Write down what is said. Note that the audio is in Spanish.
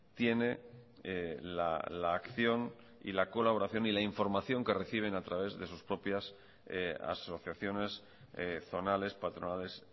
tiene la acción y la colaboración y la información que reciben a través de sus propias asociaciones zonales patronales